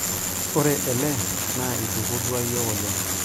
ore ele naa aitukurrua iyiook oleng